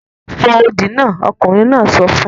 Fò odi náà! ọkùnrin náà sọ fún